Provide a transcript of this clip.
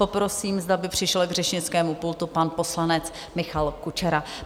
Poprosím, zda by přišel k řečnickému pultu pan poslanec Michal Kučera.